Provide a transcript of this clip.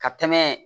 Ka tɛmɛ